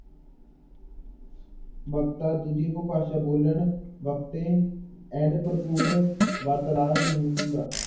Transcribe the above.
ਵਕਤਾ ਦੂਜੀ ਉਪਭਾਸ਼ਾ ਬੋਲਣ ਵਕਤੇ ਭਰਪੂਰ ਵਾਰਤਾਲਾਪ ਨਹੀਂ ਹੁੰਦਾ।